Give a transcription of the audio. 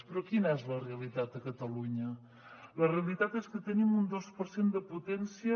però quina és la realitat a catalunya la realitat és que tenim un dos per cent de potència